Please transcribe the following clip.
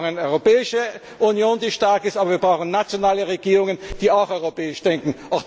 Wir brauchen eine Europäische Union, die stark ist. Aber wir brauchen nationale Regierungen, die auch europäisch denken.